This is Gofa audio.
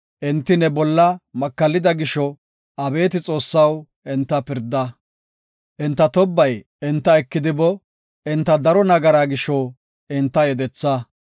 Enti ne bolla makallida gisho, abeeti Xoossaw, enta pirda; Enta tobbay enta ekidi boo; enta daro nagaraa gisho enta yedetha.